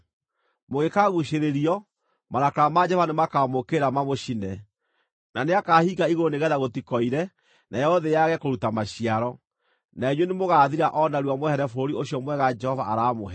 Mũngĩkaguucĩrĩrio, marakara ma Jehova nĩmakamũũkĩrĩra mamũcine, na nĩakahinga igũrũ nĩgeetha gũtikoire nayo thĩ yage kũruta maciaro, na inyuĩ nĩmũgathira o narua mwehere bũrũri ũcio mwega Jehova aramũhe.